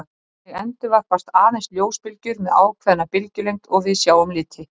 Þannig endurvarpast aðeins ljósbylgjur með ákveðna bylgjulengd og við sjáum liti.